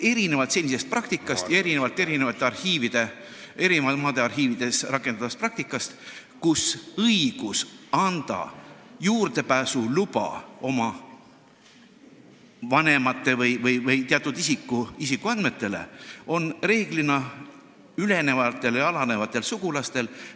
... senist praktikat ja eri maade arhiivides rakendatavat praktikat, kus õigus anda juurdepääsuluba oma vanemate või teatud isiku isikuandmetele on reeglina ülenejatel või alanejatel sugulastel.